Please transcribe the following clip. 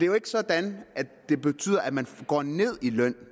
jo ikke sådan at det betyder at man går ned i løn